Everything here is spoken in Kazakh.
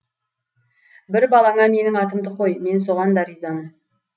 бір балаңа менің атымды қой мен соған да ризамын